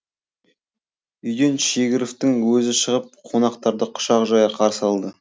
үйден шегіровтің өзі шығып қонақтарды құшақ жая қарсы алды